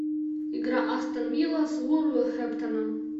игра астон вилла с вулверхэмптоном